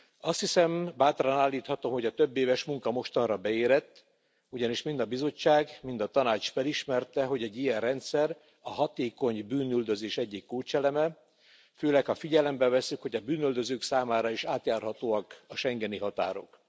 Azt hiszem, bátran állíthatom, hogy a többéves munka mostanra beérett, ugyanis mind a Bizottság, mind a Tanács felismerte, hogy egy ilyen rendszer a hatékony bűnüldözés egyik kulcseleme, főleg, ha figyelembe vesszük, hogy a bűnüldözők számára is átjárhatóak a schengeni határok.